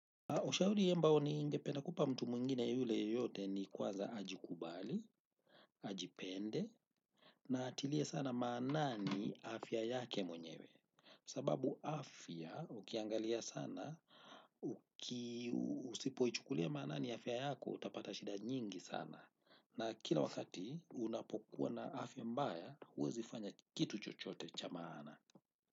Ushauri ambao ningependa kupa mtu mwingine yule yeyote ni kwanza ajikubali, ajipende na atilie sana maanani afya yake mwenyewe sababu afya ukiangalia sana, usipoichukulia maanani afya yako, utapata shida nyingi sana. Na kila wakati unapokuwa na afya mbaya, huwezi kufanya kitu chochote cha maana.